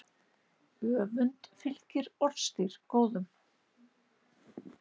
Öfund fylgir orðstír góðum.